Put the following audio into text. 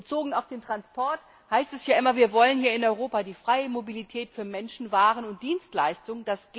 Bezogen auf den Transport heißt es ja immer Wir wollen hier in Europa die freie Mobilität für Menschen, Waren und Dienstleistungen.